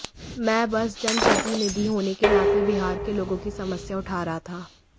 मैं बस जनप्रतिनिधि होने के नाते बिहार के लोगों की समस्या उठा रहा था